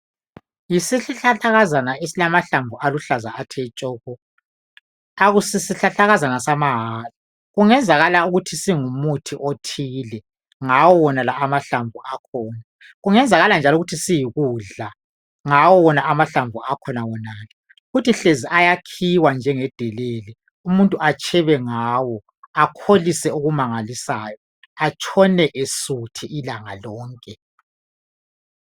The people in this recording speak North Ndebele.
Yisihlahlakazana esilamahlamvu aluhlaza tshoko akusisihlahlakazana samahala kungenzakala ukuthi singumuthi othile ngawonala amahlamvu akhona okungenzakala njalo ukuthi siyikudla ngawo wona amahlamvu akhona wonalo futhi hlezo ayakhiwa njengedelele umuntu atshebe ngawo akholise okumangalisayo atshone esuthi ilanga lonke.